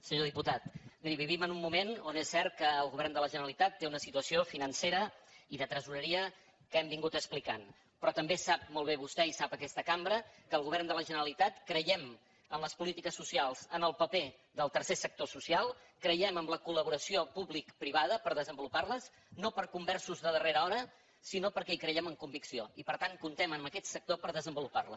senyor diputat miri vivim en un moment on és cert que el govern de la generalitat té una situació financera i de tresoreria que hem estat explicant però també sap molt bé vostè i sap aquesta cambra que el govern de la generalitat creiem en les polítiques socials en el paper del tercer sector social creiem en la col·laboració publicoprivada per desenvolupar les no per conversos de darrera hora sinó perquè hi creiem amb convicció i per tant comptem amb aquest sector per desenvolupar la